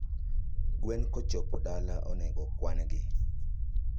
Gwen kochopo dala onego kwangi